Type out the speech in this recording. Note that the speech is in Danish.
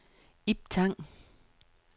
Ib Tang